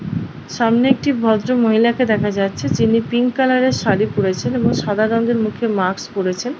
সামনে একটি ভদ্রমহিলা কে দেখা যাচ্ছে যিনি পিঙ্ক কালার - এর শাড়ী পরেছেন এবং সাদা রঙের মুখে মাক্স পরেছেন।